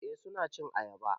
Eh suna cin ayaba